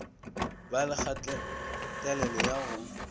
ba le kgatelelo ya go